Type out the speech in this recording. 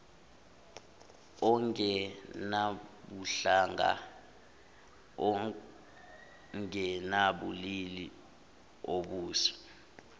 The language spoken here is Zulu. ongenabuhlanga ongenabulili obusa